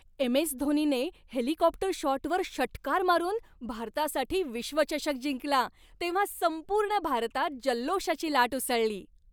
एम.एस.धोनीने helicopter शॉटवर षटकार मारून भारतासाठी विश्वचषक जिंकला तेव्हा संपूर्ण भारतात जल्लोषाची लाट उसळली.